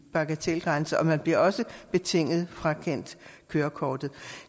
bagatelgrænse og man bliver også betinget frakendt kørekortet